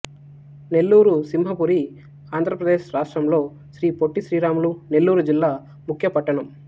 నెల్లూరు సింహపురి ఆంధ్ర ప్రదేశ్ రాష్ట్రంలో శ్రీ పొట్టి శ్రీరాములు నెల్లూరు జిల్లా ముఖ్య పట్టణం